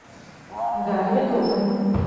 дарья довгань